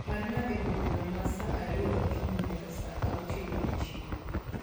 parna ewi bura ma saa ariyo okinyi nyaka saa auchiel odieching